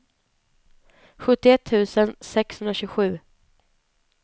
sjuttioett tusen sexhundratjugosju